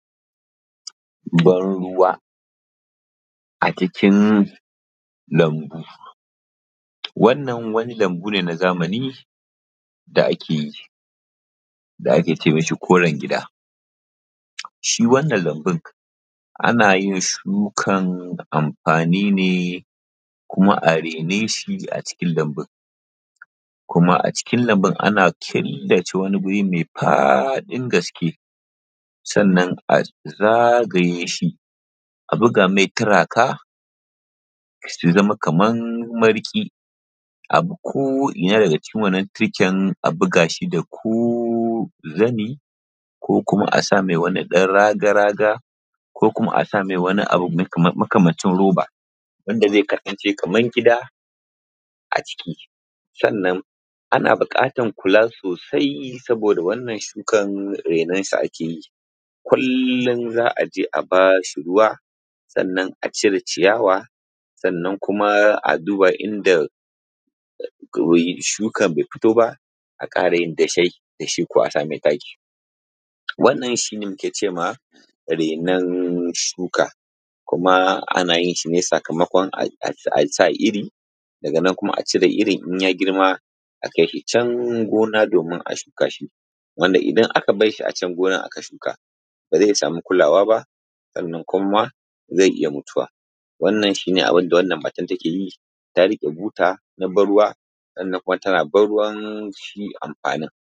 Bar ruwa a cikin lambu, wannan wani lambu ne na zamani da ake yi, da ake kira koran gida.shi wannan lambun ana yin shukan amfanin ne kuma a rena shi kuma a raine shi a cikin lambun, kuma a cikin lambun ana shirya killace wani mai faɗin gaske, sannan a zagaye shi, a buga mai turaka ya zama kaman mariƙi, a ko ina daga cikin wannan turken a buga shi da ko zani, ko kuma asa mai wani dan raga-raga ko kuma asa mai wani abu makamancin roba, wanda zai kasance kaman gida a ciki. Sannan ana buƙatan kula sosai saboda wannan shukan rainonsa ake yi kullum za a je a bashi ruwa, sannan a cire ciyawa, sannan kuma a duba inda shukan ne fito ba a ƙara yin dashai, dashi ko a sa mai taki, wannan shi ne muke ce ma renon shuka, kuma ana yin shi ne sakamakon asa iri, ko kuma a cire iri in ya girma, akai shi can gona domin a shuka shi, wanda idan aka barshi acan gonan aka shuka, ba zai sami kulawa ba, sannan kuma ma ze iya mutuwa. Wannan shi ne abin da wannan matan take yi, ta riƙe buta na ban ruwa, sannan tana ban ruwan shi amfanin.